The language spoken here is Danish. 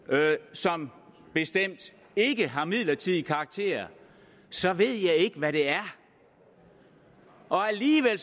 som bestemt ikke har midlertidig karakter så ved jeg ikke hvad det er og alligevel